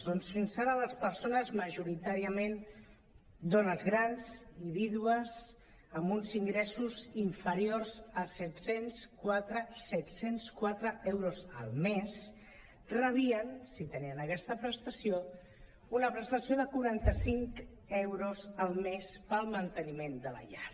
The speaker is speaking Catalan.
doncs fins ara les persones majoritàriament dones grans i vídues amb uns ingressos in·feriors a set·cents quatre set·cents quatre euros al mes rebien si tenien aquesta prestació una prestació de quaranta·cinc euros al mes per al manteniment de la llar